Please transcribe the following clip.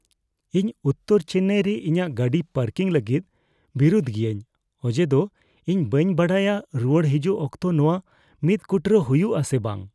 ᱤᱧ ᱩᱛᱛᱚᱨ ᱪᱮᱱᱱᱟᱭ ᱨᱮ ᱤᱧᱟᱹᱜ ᱜᱟᱹᱰᱤ ᱯᱟᱨᱠᱤᱝ ᱞᱟᱹᱜᱤᱫ ᱵᱤᱨᱩᱫ ᱜᱤᱭᱟᱹᱧ ᱚᱡᱮᱫᱚ ᱤᱧ ᱵᱟᱹᱧ ᱵᱟᱰᱟᱭᱟ ᱨᱩᱣᱟᱹᱲ ᱦᱤᱡᱩᱜ ᱚᱠᱛᱚ ᱱᱚᱶᱟ ᱢᱤᱫ ᱠᱩᱴᱨᱟᱹ ᱦᱩᱭᱩᱜ ᱟᱥᱮ ᱵᱟᱝ ᱾